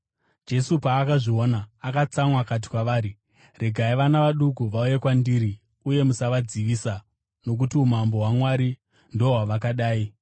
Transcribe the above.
Jesu paakazviona, akatsamwa. Akati kwavari, “Regai vana vaduku vauye kwandiri, uye musavadzivisa, nokuti umambo hwaMwari ndohwavakadai.